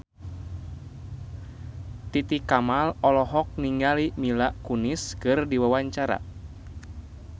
Titi Kamal olohok ningali Mila Kunis keur diwawancara